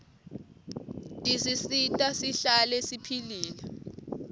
tisisita sihlale siphilile